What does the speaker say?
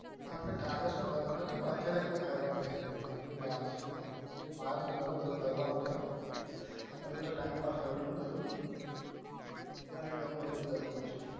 આપડે ટ્રાવેલ્સ નું કરવનું છે પણ અત્યારે હજુ કઈ કરવનું નથી હજુ વાર છે મારે તો ઘણું બધું કરવનું છે હજુ તો time pass કરું છું બધું પછી ઘણું બધું કરવાનું છે